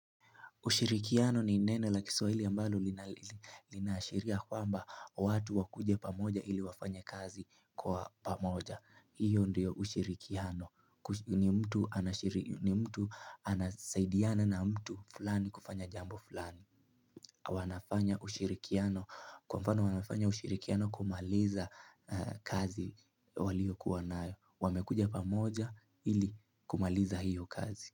Ushirikiano ni neno la kiswahili ambalo linaashiria kwamba watu wakuje pamoja ili wafanye kazi kwa pamoja. Hiyo ndiyo ushirikiano. Ni mtu ana ni mtu anasaidiana na mtu fulani kufanya jambo fulani. Wanafanya wanafanya ushirikiano kumaliza kazi waliyokuwa nayo. Wamekuja pamoja ili kumaliza hiyo kazi.